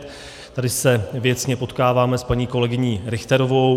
Tady se věcně potkáváme s paní kolegyní Richterovou.